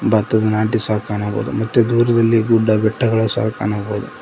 ಭತ್ತದ ನಾಟಿ ಸಹ ಕಾಣಬಹುದು ಮತ್ತೆ ದೂರದಲ್ಲಿ ಗುಡ್ಡ ಬೆಟ್ಟಗಳು ಸಹ ಕಾಣಬಹುದು.